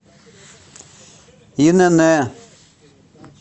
инн